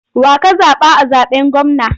Wa ka zaɓa a zaɓen gwamna?